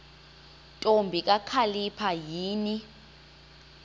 ntombi kakhalipha yini